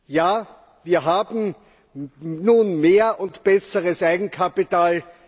Ja, wir haben nun mehr und besseres Eigenkapital